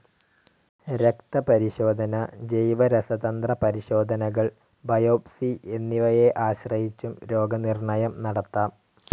രക്തപരിശോധന, ജൈവരസതന്ത്രപരിശോധനകൾ, ബയോപ്സി എന്നിവയെ ആശ്രയിച്ചും രോഗനിർണ്ണയം നടത്താം.